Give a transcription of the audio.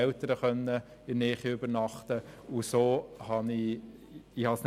So konnte ich mir Ausgaben sparen.